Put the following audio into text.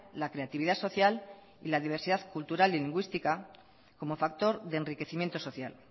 la creatividad social y la diversidad cultural y lingüística como factor de enriquecimiento social